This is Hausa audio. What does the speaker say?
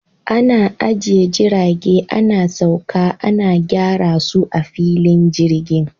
Ana ajiye jirage, ana sauka, ana gyara su a filin jirgin.